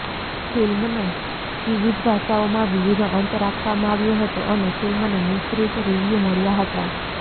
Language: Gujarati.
ફિલ્મનો વિવિધ ભાષાઓમાં વિવિધ અંત રાખવામાં આવ્યો હતો અને ફિલ્મને મિશ્રિત રિવ્યૂ મળ્યા હતા